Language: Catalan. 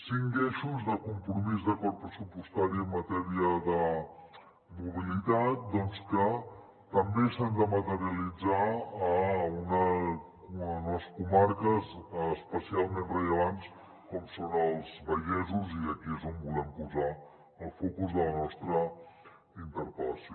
cinc eixos de compromís d’acord pressupostari en matèria de mobilitat doncs que també s’han de materialitzar en unes comarques especialment rellevants com són els vallesos i aquí és on volem posar el focus de la nostra interpel·lació